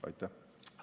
Aitäh!